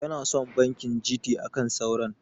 Yana son banki GT akan sauran.